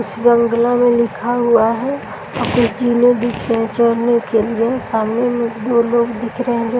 कुछ बांग्ला में लिखा हुआ है और जिनो भी पहुंचने के लिए सामने में दो लोग दिख रहे हैं जो --